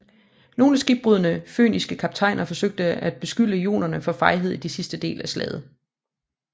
Nogle skibbrudne fønikiske kaptajner forsøge at beskylde jonerne for fejhed i den sidste del af slaget